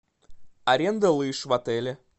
аренда лыж в отеле